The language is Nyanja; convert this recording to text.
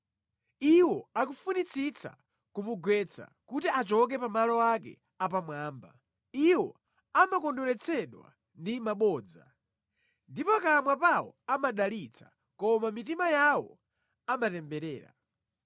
Iwo akufunitsitsa kumugwetsa kuti achoke pa malo ake apamwamba. Iwo amakondweretsedwa ndi mabodza. Ndi pakamwa pawo amadalitsa koma mʼmitima yawo amatemberera.